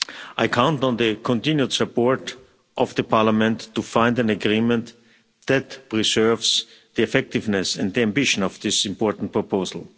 I count on the continued support of Parliament to find an agreement that preserves the effectiveness and the ambition of this important proposal.